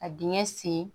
Ka dingɛ sen